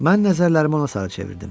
Mən nəzərlərimi ona sarı çevirdim.